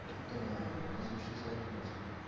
এই তো ভাই overall sixty seven percent